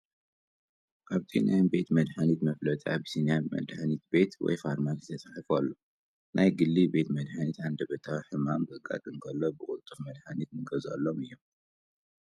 ኣብቲ ናይ ቤት መድሓኒት መፋለጢ ኣቢሲንያ መድሓኒት ቤት ወይ ፋርማሲ ተፃሒፉ ኣሎ፡፡ ናይ ግሊ ቤት መሓኒታት ሃንደበታዊ ሕማም ከጋጥም ከሎ ብቅልጡፍ መድሓኒት ንገዝአሎም እዮም፡፡